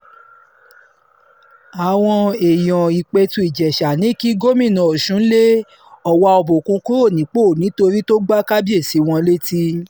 àwọn èèyàn ìpẹ̀tù ìjèṣà ní kí gómìnà ọ̀sùn lé ọwá òbòkun kúrò nípò nítorí tó gba kábíyèsí wọn létí